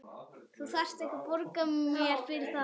Þú þarft ekkert að borga mér fyrir það.